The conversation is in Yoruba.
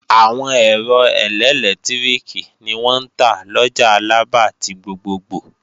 Àwọn ẹ̀rọ ẹlẹ́lẹtiriki ni wọ́n ń tà lọjà Alaba ti gbogbogbò